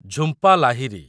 Jhumpa Lahiri